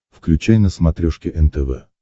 включай на смотрешке нтв